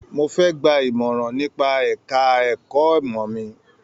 Mó fẹ gbà imọran nípa ẹka ẹ̀kọ́ ìmọ mí.